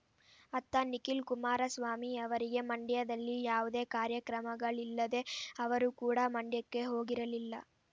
ಅತ್ತ ನಿಖಿಲ್ ಕುಮಾರಸ್ವಾಮಿ ಅವರಿಗೂ ಮಂಡ್ಯದಲ್ಲಿ ಯಾವುದೇ ಕಾರ್ಯಕ್ರಮಗಳಿಲ್ಲದೆ ಅವರು ಕೂಡ ಮಂಡ್ಯಕ್ಕೆ ಹೋಗಿರಲಿಲ್ಲ